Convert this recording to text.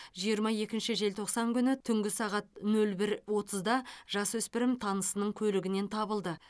жиырма екінші желтоқсан күні түнгі сағат нөл бір отызда жасөспірім танысының көлігінен табылды